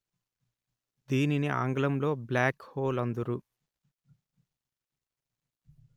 దీనిని ఆంగ్ల్ంలో black hole అందురు